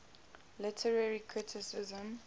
literary criticism